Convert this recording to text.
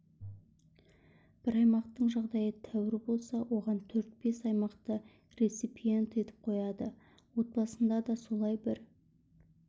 бір аймақтың жағдайы тәуір болса оған төрт-бес аймақты реципиент етіп қояды отбасында да солай бір